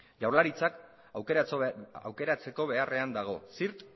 jaurlaritzak aukeratzeko beharrean dago zirt